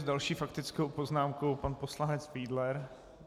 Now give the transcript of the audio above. S další faktickou poznámkou pan poslanec Fiedler.